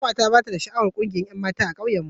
Kanwata bata da sha'awar kungiyar 'yanmata a ƙauyen mu.